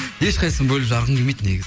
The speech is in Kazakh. ешқайсысының бөліп жарғым келмейді